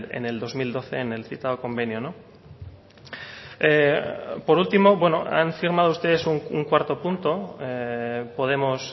en el dos mil doce en el citado convenio por último han firmado ustedes un cuarto punto podemos